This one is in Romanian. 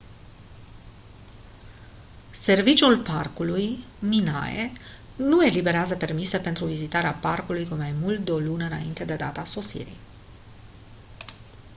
serviciul parcului minae nu eliberează permise pentru vizitarea parcului cu mai mult de o lună înainte de data sosirii